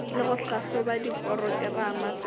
le go tlhahloba diporokerama tša